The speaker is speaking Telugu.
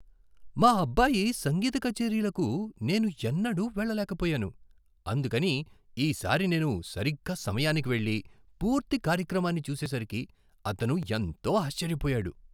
మా అబ్బాయి సంగీత కచేరీలకు నేను ఎన్నడూ వేళ్ళలేకపోయాను, అందుకని ఈ సారి నేను సరిగ్గా సమయానికి వెళ్లి పూర్తి కార్యక్రమాన్ని చూసేసరికి అతను ఎంతో ఆశ్చర్యపోయాడు.